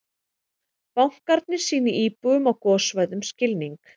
Bankarnir sýni íbúum á gossvæðum skilning